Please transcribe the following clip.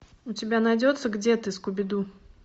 у тебя найдется где ты скуби ду